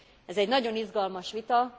Ez egy nagyon izgalmas vita.